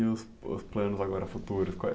E os os planos agora futuros?